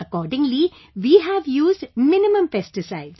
Accordingly, we have used minimum pesticides